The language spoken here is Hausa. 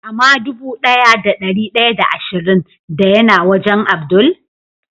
Ama dubu daya da dari daya da ashirin da ya na wajen Abdul?